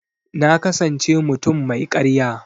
Na kasance mutum mai karya.